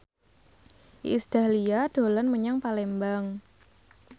Iis Dahlia dolan menyang Palembang